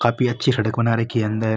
काफी अच्छी सड़क बना रखी है अंदर।